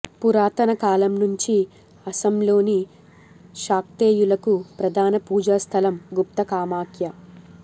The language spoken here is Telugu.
పురాతన కాలంనుంచీ అసోంలోని శాక్తేయులకు ప్రధాన పూజా స్ధలం గుప్త కామాఖ్య